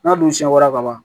N'a dun siɲɛ wɛrɛ ka ban